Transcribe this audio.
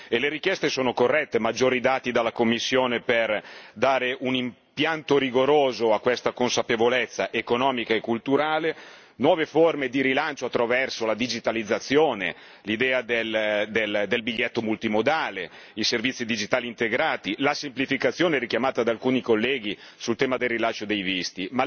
E le richieste sono corrette maggiori dati dalla Commissione per dare un impianto rigoroso a questa consapevolezza economica e culturale, nuove forme di rilancio attraverso la digitalizzazione, l'idea del biglietto multimodale, i servizi digitali integrati, la semplificazione richiamata da alcuni colleghi sul tema del rilascio dei visti.